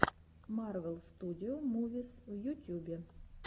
марвел студио мувис в ютюбе